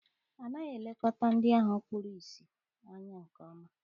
Anaghị elekọta ndị ahụ kpuru ìsì anya nke ọma.